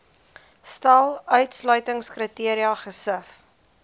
stel uitsluitingskriteria gesif